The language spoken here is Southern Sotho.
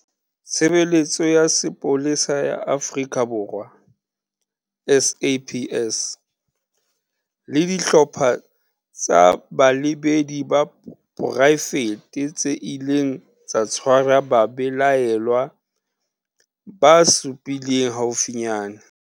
Tshe beletso ya Sepolesa ya Afrika Borwa, SAPS le dihlopha tsa balebedi ba poraefete tse ileng tsa tshwara babelaellwa ba supileng haufinyane.